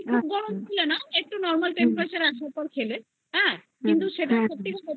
দিও না একটু normal temperature রাখো হ্যা কিন্তু সেটা সত্যি তুমি